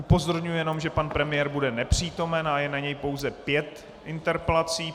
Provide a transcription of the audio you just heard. Upozorňuji jen, že pan premiér bude nepřítomen a je na něj pouze pět interpelací.